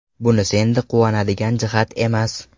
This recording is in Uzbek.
Bunisi endi quvonadigan jihat emas.